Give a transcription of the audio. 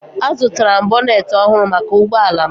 Azụtara m bonet ọhụrụ maka ụgbọ ala m